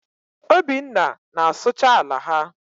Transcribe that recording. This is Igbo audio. Obinna na-asụcha ala ha.